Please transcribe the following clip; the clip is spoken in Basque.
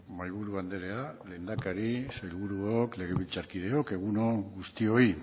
mahaiburu andrea lehendakari sailburuok legebiltzarkideok egun on guztioi